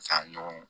Saɲɔn